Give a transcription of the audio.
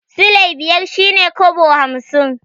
Silai biyar shi ne kobo hamsin.